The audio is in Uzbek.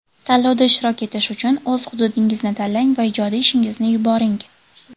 Tanlovda ishtirok etish uchun o‘z hududingizni tanlang va ijodiy ishingizni yuboring.